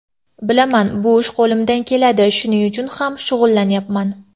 Bilaman, bu ish qo‘limdan keladi, shuning uchun ham shug‘ullanyapman.